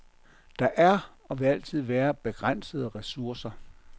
Der er, og vil altid være, begrænsede ressourcer.